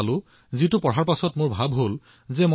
সেই বাৰ্তা পঢ়াৰ পিছত তেওঁক লগ পোৱাৰ দৰে ইচ্ছা হল